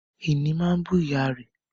Ìní máa bú ìyá rẹ̀